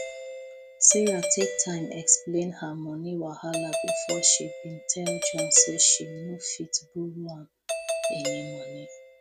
sarah take time explain her money wahala before she been tell john say she no fit borrow am any money